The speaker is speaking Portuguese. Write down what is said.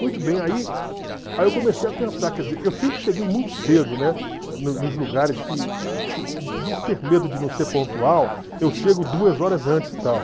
Muito bem, aí aí eu comecei a pensar, quer dizer, eu sempre cheguei muito cedo, né, mo nos lugares que, por ter medo de não ser pontual, eu chego duas horas antes e tal.